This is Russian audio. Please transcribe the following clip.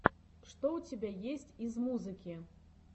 что у тебя есть из музыки